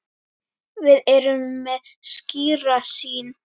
Við erum með skýra sýn.